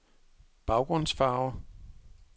baggrundsfarve